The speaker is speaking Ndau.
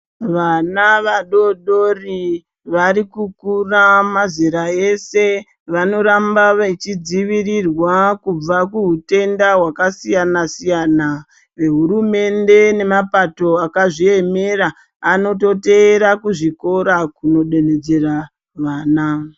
Vana vadodori varikukura mazera ese vanoramba veidzivirirwa kubva kuhutenda hwakasiyana siyana nehurumende nemapato akazviemera anototeera kuzvikora kodonhedzera vana.